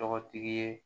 Tɔgɔtigi ye